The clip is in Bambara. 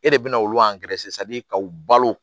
E de bɛ na olu ka u balo